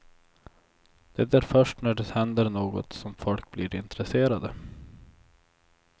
Det är först när det händer något som folk blir intresserade.